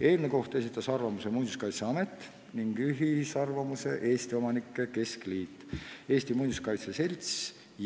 Eelnõu kohta esitas oma arvamuse Muinsuskaitseamet, ühisarvamuse esitasid Eesti Omanike Keskliit, Eesti Muinsuskaitse Selts